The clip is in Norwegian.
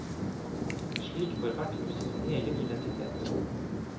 Slik får hvert hus sin egen identitet.